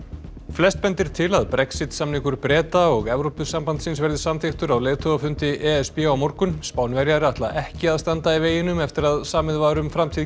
flest bendir til að Brexit samningur Breta og Evrópusambandsins verði samþykktur á leiðtogafundi e s b á morgun Spánverjar ætla ekki að standa í veginum eftir að samið var um framtíð